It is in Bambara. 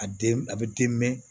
A den a bɛ den mɛn